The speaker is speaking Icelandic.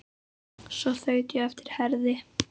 Svo þaut ég á eftir Herði.